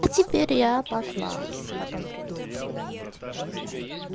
и теперь я пошла потом приду когда-нибудь я не знаю